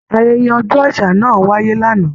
Ayẹyẹ ọjọ àṣà náà wáyé l'ana.